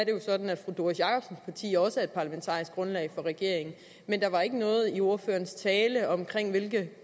jo sådan at fru doris jakobsens parti også det parlamentariske grundlag for regeringen men der var ikke noget i ordførerens tale om hvilke